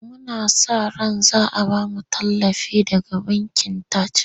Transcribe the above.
Muna sa ran za a ba mu tallafi daga bankin Taj.